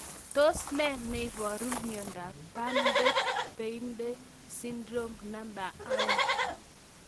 Tos nee neiparu miondop Bardet Biedl syndrome 2?